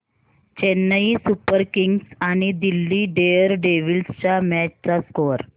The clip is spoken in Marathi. चेन्नई सुपर किंग्स आणि दिल्ली डेअरडेव्हील्स च्या मॅच चा स्कोअर